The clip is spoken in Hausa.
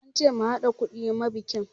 An ce mu haɗa kuɗi ma bikin